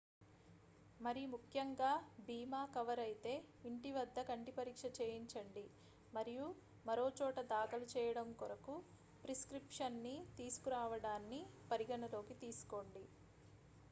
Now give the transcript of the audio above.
మరిముఖ్యంగా బీమా కవర్ అయితే ఇంటి వద్ద కంటి పరీక్ష చేయించండి మరియు మరోచోట దాఖలు చేయడం కొరకు ప్రిస్క్రిప్షన్ ని తీసుకురావడాన్ని పరిగణనలోకి తీసుకోండి